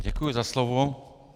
Děkuji za slovo.